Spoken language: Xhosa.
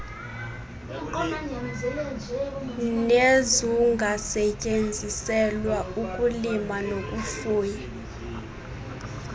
nezungasetyenziselwa ukulima nokufuya